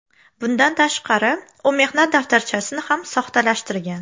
Bundan tashqari u mehnat daftarchasini ham soxtalashtirgan.